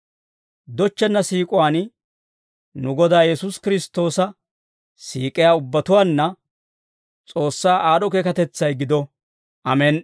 Dochchenna siik'uwaan nu Godaa Yesuusi Kiristtoosa siik'iyaa ubbatuwaanna S'oossaa aad'd'o keekatetsay gido. Amen"i.